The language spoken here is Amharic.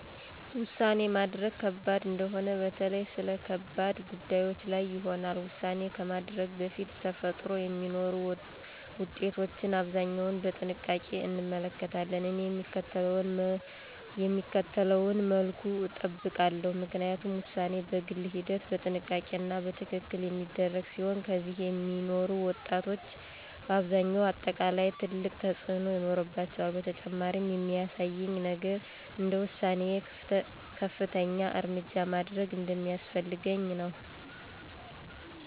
ውሳኔ ማድረግ ከባድ እንደሆነ በተለይ ስለ ከባድ ጉዳዮች ላይ ይሆናል። ውሳኔ ከማድረግ በፊት ተፈጥሮ የሚኖሩ ውጤቶችን አብዛኛው በጥንቃቄ እንመለከታለን። እኔ የሚከተለውን መልኩ እጠብቃለሁ፣ ምክንያቱም ውሳኔ በግል ሂደት፣ በጥንቃቄ እና በትክክል የሚደረግ ሲሆን ከዚያ የሚኖሩ ውጤቶች በአብዛኛው አጠቃላይ ትልቅ ተፅእኖ ይኖራቸዋል። በተጨማሪም የሚያሳየኝ ነገር እንደ ውሳኔዬ ከፍተኛ እርምጃ ማድረግ እንደሚያስፈልገኝ ነው።